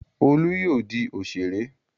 Olú yóò di òṣèré!